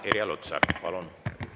Irja Lutsar, palun!